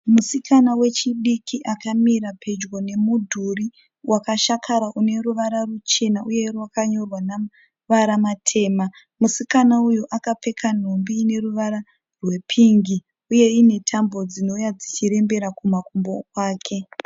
Musikana wechidiki akamira pedyo nemudhuri wakashakara une ruvara ruchena uye wakanyorwa namavara matema musikana uyu akapfeka nhumbi ine ruvara rwepingi uye ine tambo dzinouya dzichirembera kumakumbo kwake.